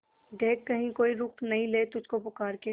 देख कहीं कोई रोक नहीं ले तुझको पुकार के